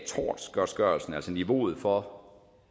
niveauet for